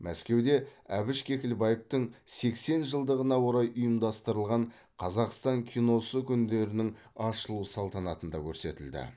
мәскеуде әбіш кекілбаевтың сексен жылдығына орай ұйымдастырылған қазақстан киносы күндерінің ашылу салтанатында көрсетілді